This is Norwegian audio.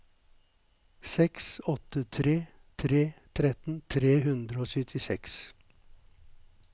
seks åtte tre tre tretten tre hundre og syttiseks